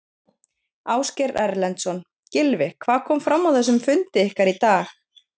Ásgeir Erlendsson: Gylfi hvað kom fram á þessum fundi ykkar í dag?